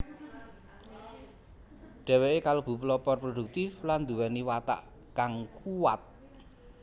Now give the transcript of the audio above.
Dheweke kalebu pelopor produktif lan nduweni watak kang kuwat